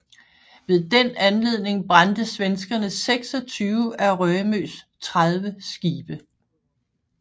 Ved den anledning brændte svenskerne 26 af Rømøs 30 skibe